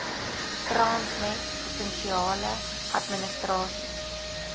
transnet provinsiale administrasies